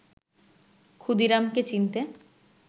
ক্ষুদিরামকে চিনতে